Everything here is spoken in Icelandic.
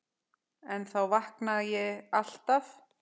En þá vaknaði ég alltaf.